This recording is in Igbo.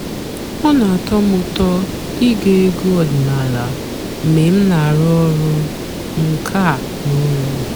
ọ́ nà-àtọ́ m ụ́tọ́ íge ègwú ọ̀dị́náàlà mg̀bé m nà-àrụ́ ọ̀rụ́ ǹká n'ụ́lọ́.